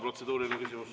Protseduuriline küsimus.